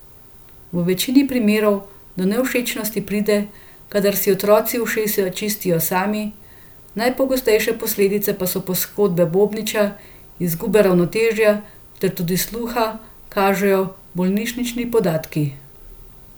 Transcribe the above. V večini primerov do nevšečnosti pride, kadar si otroci ušesa čistijo sami, najpogostejše posledice pa so poškodba bobniča, izguba ravnotežja ter tudi sluha, kažejo bolnišnični podatki.